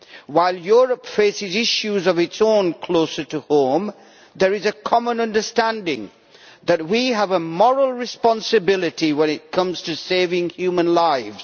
While Europe faces issues of its own closer to home, there is a common understanding that we have a moral responsibility when it comes to saving human lives.